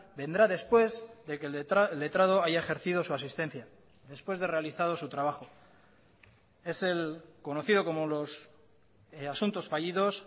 vendrá después de que el letrado haya ejercido su asistencia después de realizado su trabajo es el conocido como los asuntos fallidos